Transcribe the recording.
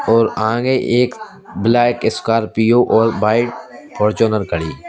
और आगे एक ब्लैक स्कॉर्पियो और वाइट फ़ौरचूनर खड़ी --